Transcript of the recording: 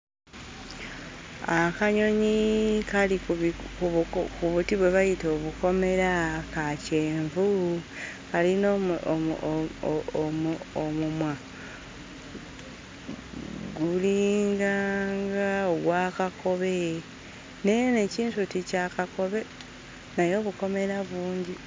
Akanyonyi kali ku bi ku buko ku buti bwe bayita obukomera; ka kyenvu, kalina omu omu omu omumwa gulinganga ogwa kakobe naye n'ekinsuti kya kakobe, naye obukomera bungi.